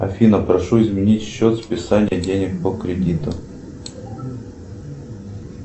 афина прошу изменить счет списания денег по кредиту